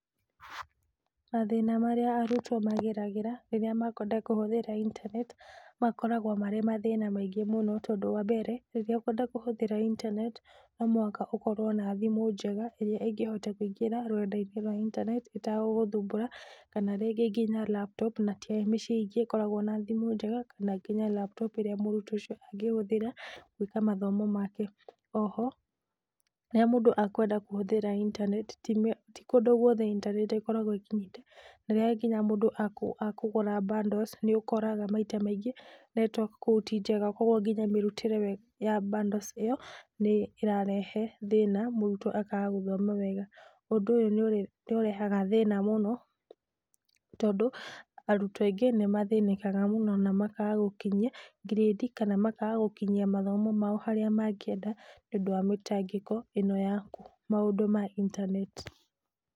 Mathĩna marĩa arutwo mageragĩra rĩrĩa makwenda kũhũthĩra intaneti, makoragwo marĩ mathĩna maingĩ mũno tondũ wa mbere, rĩrĩa ũkwenda kũhũthĩra intaneti, no mũhaka ũkorwo na thimũ njega ĩrĩa ĩngĩhota kũingĩra rũrenda-inĩ rwa intaneti ĩtagũgũthumbũra kana rĩngĩ nginya laptop na ti mĩciĩ ingĩ ikoragwo na thimũ njega kana nginya laptop ĩrĩa mũrutwo ũcio angĩhũthĩra gwĩka mathomo make. Oho rĩrĩa mũndũ akwenda kũhũthĩra intaneti, ti kũndũ guothe intaneti ĩkoragwo ĩkinyĩte na rĩrĩa nginya mũndũ akũgũra bundles, nĩ ũkoraga maita maingĩ network kũu ti njega. Koguo nginya mĩrutĩre ya bundles ĩyo nĩ ĩrarehe thĩna mũrutwo akaga gũthoma wega. Ũndũ ũyũ nĩ ũrehaga thĩna mũno tondũ arutwo aingĩ nĩ mathĩnĩkaga mũno na makaga gũkinyia grade kana makaga gũkinyia mathomo mao harĩa mangĩenda nĩũndũ wa mĩtangĩko ĩno ya maũndũ ma intaneti.